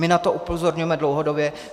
My na to upozorňujeme dlouhodobě.